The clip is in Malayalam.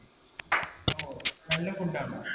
ഓ നല്ല food ആണോ